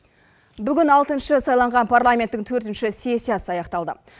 бүгін алтыншы сайланған парламенттің төртінші сессиясы аяқталды